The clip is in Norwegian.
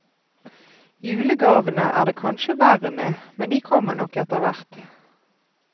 Julegavene er det kanskje verre med, men de kommer nok etterhvert.